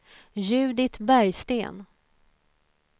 Judit Bergsten